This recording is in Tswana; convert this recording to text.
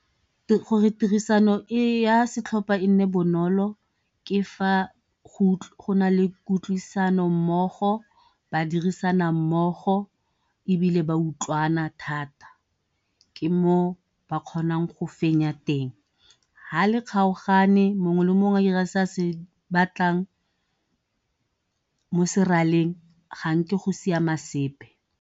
gore tirisano ya setlhopha e nne bonolo ke fa go na le kutlwisano mmogo ba dirisana mmogo, ebile ba utlwana thata ke moo ba kgonang go fenya teng. Ga le kgaogane mongwe le mongwe a ira se a se batlang mo seraleng ga nke go siama sepe.